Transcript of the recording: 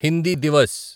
Hindi Divas